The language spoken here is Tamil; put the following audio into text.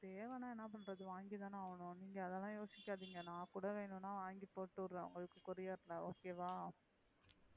தேவனா என்ன பண்றது வாங்கிதானா ஆகணும் நீங்க அதுலா யோசிகாதிங்க நான் கூட வேணுனா வாங்கி போட்டுஉடுறேன் உங்களுக்கு courier ல okay வா,